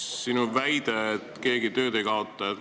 Sa väitsid, et keegi tööd ei kaota.